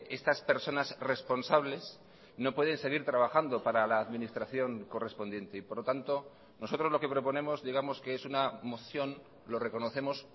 estas personas responsables no pueden seguir trabajando para la administración correspondiente y por lo tanto nosotros lo que proponemos digamos que es una moción lo reconocemos